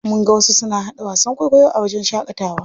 Mun ga wasu suna haɗa wasan kwaikwayo a wajen shaƙatawa.